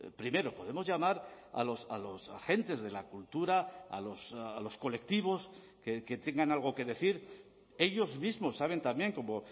primero podemos llamar a los agentes de la cultura a los colectivos que tengan algo que decir ellos mismos saben también como